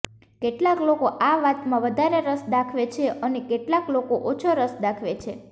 કેટલાક લોકો આ વાતમાં વધારે રસ દાખવે છે અને કેટલાક લોકો ઓછો રસ દાખવે છે